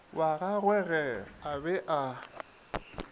wa gagwege a be a